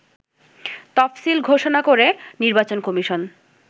তফসিল ঘোষণা করে নির্বাচন কমিশন